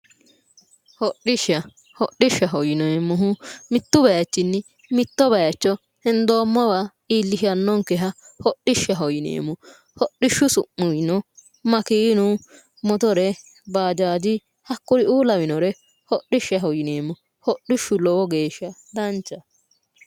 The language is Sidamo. hodhishsha hodhishshaho yineemmohu mittu bayiichinni mitto bayicho hendoommowa iillishannonkeha hodhishshaho yineemmo hodhishshu su'muwino makeenu motore baajaaji hakkuriuu lawinore hodhishshaho yineemmo hodhishshu lowo geeshsha danchaho.